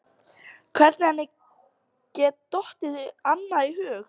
Hvernig henni geti dottið annað í hug?